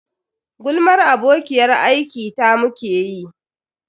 Gulmar abokiyar aiki ta muke yi.